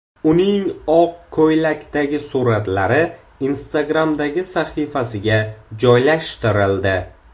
Uning oq ko‘ylakdagi suratlari Instagram’dagi sahifasiga joylashtirildi.